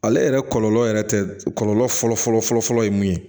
Ale yɛrɛ kɔlɔlɔ yɛrɛ tɛ kɔlɔlɔ fɔlɔfɔlɔ fɔlɔ ye mun ye